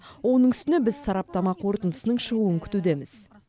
оның үстіне біз сараптама қорытындысының шығуын күтудеміз